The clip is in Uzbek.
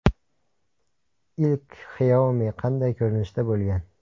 Ilk Xiaomi qanday ko‘rinishda bo‘lgan?